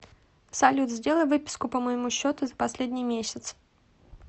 салют сделай выписку по моему счету за последний месяц